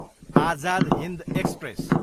Azad Hind express